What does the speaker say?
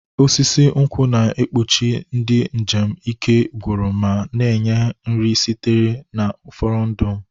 Osisi nkwụ na-ekpuchi ndị njem ike gwụrụ ma na-enye nri sitere na furondu m.